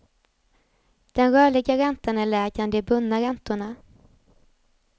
Den rörliga räntan är lägre än de bundna räntorna.